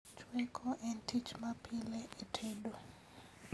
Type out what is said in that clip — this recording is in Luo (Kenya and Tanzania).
Chweko en tich ma pile e tedo